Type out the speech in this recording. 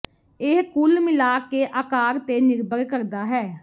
ਇਹ ਕੁੱਲ ਮਿਲਾਕੇ ਦੇ ਆਕਾਰ ਤੇ ਨਿਰਭਰ ਕਰਦਾ ਹੈ